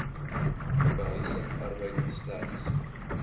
behuising arbeid slegs